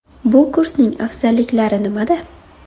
Bu kursning afzalliklari nimada?